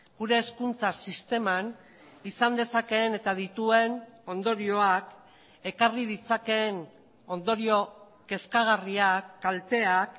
gure hezkuntza sisteman izan dezakeen eta dituen ondorioak ekarri ditzakeen ondorio kezkagarriak kalteak